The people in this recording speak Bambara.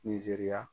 Nizeriya